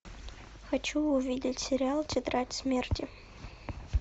хочу увидеть сериал тетрадь смерти